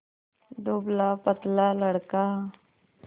दुबलापतला लड़का